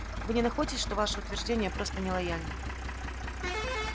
вы не находите что ваше утверждение просто нелояльно